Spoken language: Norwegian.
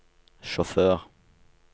sjåfør